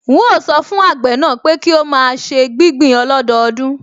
N óò sọ fún àgbẹ̀ náà pé kí ó máa ṣe gbígbìn ọlọ́dọọdún